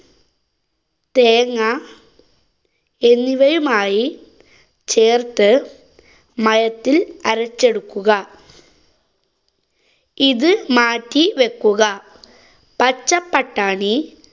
തേങ്ങ, എന്നിവയുമായി ചേര്‍ത്ത് മയത്തില്‍ അരച്ചെടുക്കുക. ഇത് മാറ്റി വെക്കുക. പച്ചപട്ടാണി